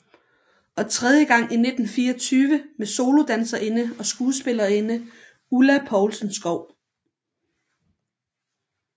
Og tredje gang i 1924 med solodanserinde og skuespillerinde Ulla Poulsen Skou